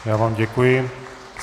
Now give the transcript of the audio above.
Já vám děkuji.